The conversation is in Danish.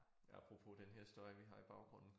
Ja apropos den her historie vi har i baggrunden